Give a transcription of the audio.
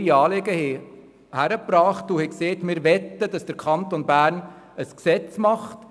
Diese haben ihre Anliegen vorgebracht und gesagt, dass sie möchten, dass der Kanton Bern ein solches Gesetz verfasse.